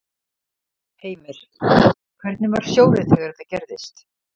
Heimir: Hvernig var sjórinn þegar þetta gerðist?